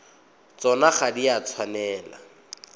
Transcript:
tsona ga di a tshwanela